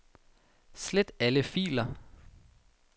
Slet alle filer.